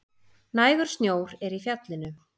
Nægur snjór er í fjallinu